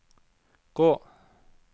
gå